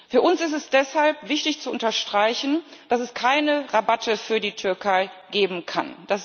Für uns ist es deshalb wichtig zu unterstreichen, dass es keine Rabatte für die Türkei geben kann.